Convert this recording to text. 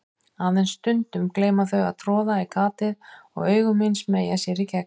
Aðeins stundum gleyma þau að troða í gatið og augu mín smeygja sér í gegn.